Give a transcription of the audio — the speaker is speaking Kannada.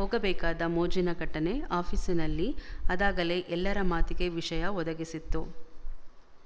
ಹೋಗಬೇಕಾದ ಮೋಜಿನ ಘಟನೆ ಆಫೀಸಿನಲ್ಲಿ ಅದಾಗಲೇ ಎಲ್ಲರ ಮಾತಿಗೆ ವಿಷಯ ಒದಗಿಸಿತ್ತು